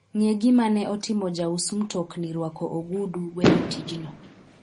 ng'e gima ne otimo jaus mtokni rwako ogudu weyo tijno